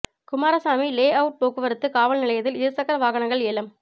Kumaraswamy layout போக்குவரத்து காவல் நிலையத்தில் இரு சக்கர வாகனங்கள் ஏலம்